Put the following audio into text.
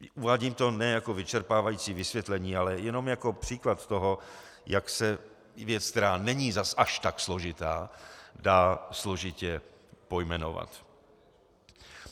Uvádím to ne jako vyčerpávající vysvětlení, ale jenom jako příklad toho, jak se věc, která není zas až tak složitá, dá složitě pojmenovat.